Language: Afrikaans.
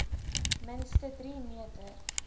minste drie meter